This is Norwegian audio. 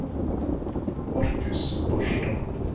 Marcus Barstad